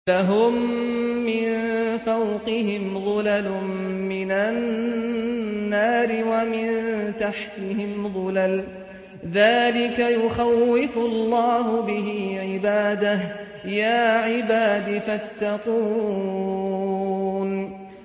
لَهُم مِّن فَوْقِهِمْ ظُلَلٌ مِّنَ النَّارِ وَمِن تَحْتِهِمْ ظُلَلٌ ۚ ذَٰلِكَ يُخَوِّفُ اللَّهُ بِهِ عِبَادَهُ ۚ يَا عِبَادِ فَاتَّقُونِ